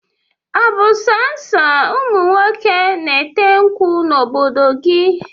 Ọ bụ so ụmụnwoke na-ete nkwụ n'obodo gị?